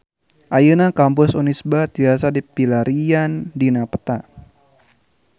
Ayeuna Kampus Unisba tiasa dipilarian dina peta